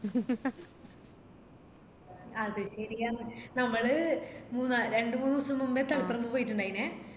അത് ശെരിയാന്ന് നമ്മള് മൂന്നാല് രണ്ട് മൂന്ന് ദിവസം മുന്നേ തളിപ്പറമ്പ് പോയിട്ടിണ്ടായിനെ